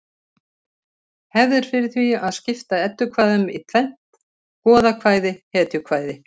Hefð er fyrir því að skipta eddukvæðum í tvennt: goðakvæði hetjukvæði